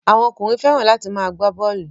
Àwọn ọkùnrin fẹ́ràn láti máa gbá bọ́ọ́lù.